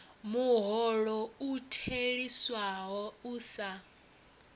muholo u theliswaho u sa